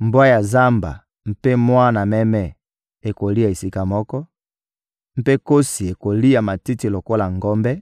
Mbwa ya zamba mpe mwana meme ekolia esika moko; mpe nkosi ekolia matiti lokola ngombe,